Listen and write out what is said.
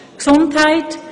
Gesundheit;